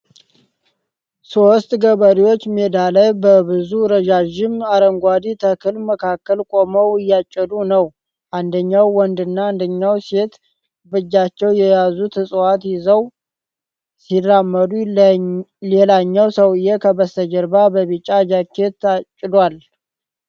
ሶስት ገበሬዎች ሜዳ ላይ በብዙ ረዣዥም አረንጓዴ ተክል መካከል ቆመው እያጨዱ ነው። አንደኛው ወንድና አንደኛዋ ሴት በእጃቸው የያዙትን እፅዋት ይዘው ሲራመዱ ሌላኛው ሰውዬው ከበስተጀርባ በቢጫ ጃኬት አጭዷል።